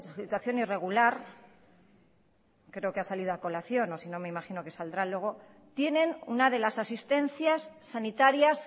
situación irregular creo que ha salido a colación o sino me imagino que saldrá luego tienen una de las asistencias sanitarias